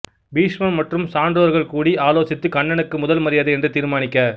பீஷ்மர் மற்றும் சான்றோர்கள் கூடி ஆலோசித்து கண்ணனுக்கு முதல் மரியாதை என்று தீர்மானிக்க